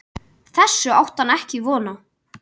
Þessu átti hann ekki von á.